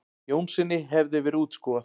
Jónssyni hefði verið útskúfað.